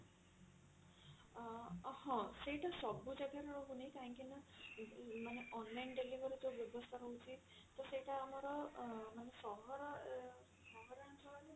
ହଁ ସେଇଟା ସବୁ ଜାଗା ରେ ରହୁନି କାହିଁକି ନା ମାନେ online delivery ଯଉ ବ୍ୟବସ୍ଥା ରହୁଛି ତ ସେଇଟା ଆମର ଅ ମାନେ ସହର ସହରାଞ୍ଚଳରେ